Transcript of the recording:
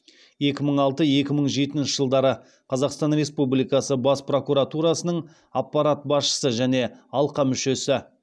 екі мың алты екі мың жетінші жылдары қазақстан республикасы бас прокуратурасының аппарат басшысы және алқа мүшесі